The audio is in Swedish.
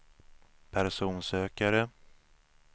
personsökare